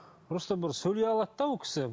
просто бір сөйлей алады да ол кісі